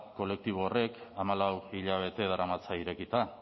kolektibo horrek hamalau hilabete daramatza irekita